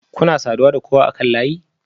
Kuna saduwa da kowa akan layi?